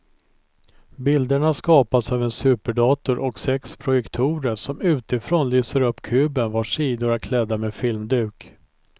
Bilderna skapas av en superdator och sex projektorer som utifrån lyser upp kuben vars sidor är klädda med filmduk.